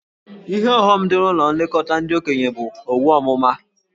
Ihe ọghọm dị na ụlọ nlekọta ndị okenye bụ owu ọmụma.